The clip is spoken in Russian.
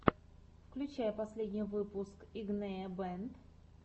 включай последний выпуск игнея бэнд